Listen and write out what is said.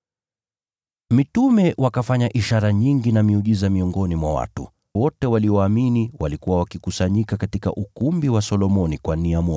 Mitume wakafanya ishara nyingi na miujiza miongoni mwa watu. Walioamini wote walikuwa wakikusanyika katika ukumbi wa Solomoni.